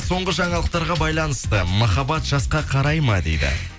соңғы жаңалықтарға байланысты махаббат жасқа қарай ма дейді